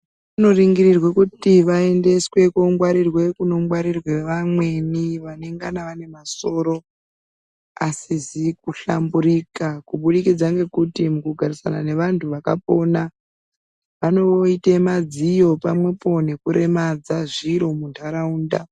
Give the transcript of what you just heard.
Vanoringirwe kuti vaendeswe kunongwarirwe kunongwarirwe vamweni vanenga vane masoro asisiri kuhlamburika kuburikidza ngekuti mukugarisana nevantu vakapona vanoite madziyo pamwepo nekuremadza zviro muntaraunta.